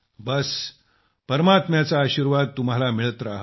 बस परमात्म्याचा आशीर्वाद तुम्हाला मिळत रहावा